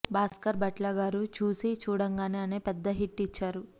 భాస్కర్ భట్ల గారు చూసి చూడంగానే అనే పెద్ద హిట్ ఇచ్చారు